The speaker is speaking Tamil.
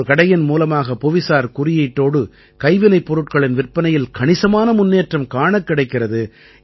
ஒரு கடையின் மூலமாக புவிசார் குறியீட்டோடு கைவினைப் பொருட்களின் விற்பனையில் கணிசமான முன்னேற்றம் காணக் கிடைக்கிறது